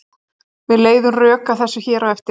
Við leiðum rök að þessu hér á eftir.